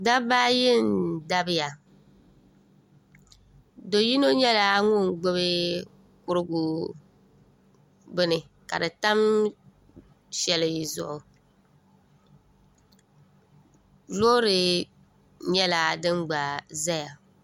dabba ayi n-dabiya do' yino nyɛla ŋun gbubi kurigu bini ka di tam shɛli zuɣu loori nyɛĺa din gba zaya